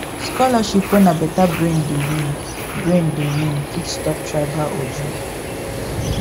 scholarship wey na better brain dey win brain dey win fit stop tribal ojoro